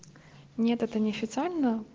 нет это не официально